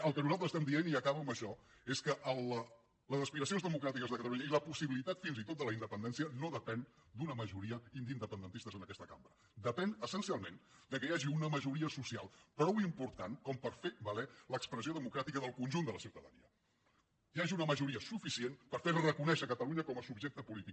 el que nosaltres estem dient i acabo amb això és que les aspiracions democràtiques de catalunya i la possibilitat fins i tot de la independència no depenen d’una majoria d’independentistes en aquesta cambra depenen essencialment del fet que hi hagi una majoria social prou important per fer valer l’expressió democràtica del conjunt de la ciutadania que hi hagi una majoria suficient per fer reconèixer catalunya com a subjecte polític